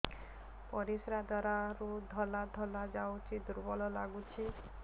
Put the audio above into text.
ପରିଶ୍ରା ଦ୍ୱାର ରୁ ଧଳା ଧଳା ଯାଉଚି ଦୁର୍ବଳ ଲାଗୁଚି